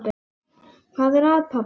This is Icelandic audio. Hvað er að, pabbi?